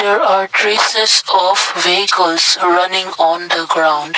there are races of vehicles running on the ground.